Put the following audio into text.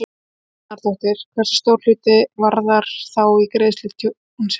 Helga Arnardóttir: Hversu stór er hluti Varðar þá í greiðslu tjónsins?